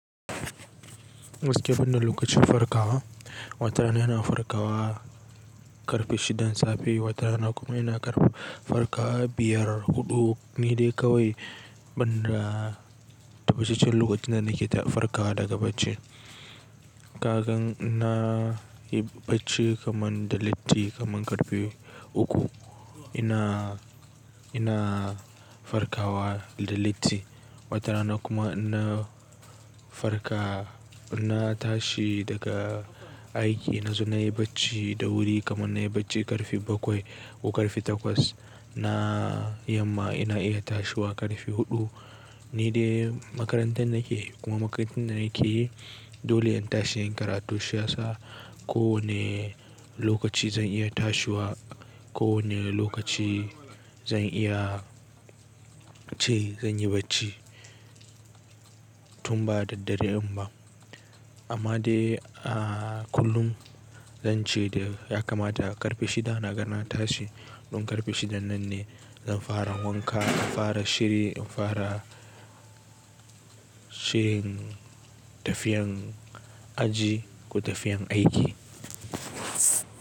Waske ban da lokacin farkawa, watarana ina farkawa ƙarfe shidan safe, watarana kuma ina ƙarfe farkawa biyar huɗu ni dai kawai banda tabattacen lokacin da nake farkawa daga bacci. Kagan ina yi bacci kaman da latti kaman ƙarfe uku ina, ina farkawa da latti. Watarana kuma ina farka ina tashi daga aiki na zo nayi bacci da wuri kaman nayi bacci ƙarfe bakwai ko ƙarfe takwas. Na yamma ina iya tashiwa ƙarfe huɗu ni dai makarantan nake kuma makarantan da nake dole in tashi in yi karatu shi yi sa ko wanne lokaci zan iya tashiwa, ko wanne lokaci zan iya ce zan yi bacci tun ba da dare in ba. Amma dai a kullum zance da ya kamata ƙarfe shida na ga na tashi don ƙarfe shidan nan ne zan fara wanka, inn fara shiri, in fara shirin tafiyan aji ko tafiyan aiki.